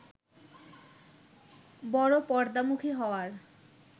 বড় পর্দামুখী হওয়ার